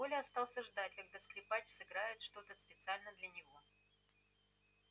коля остался ждать когда скрипач сыграет что то специально для него